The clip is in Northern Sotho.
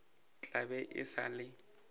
tla be e sa le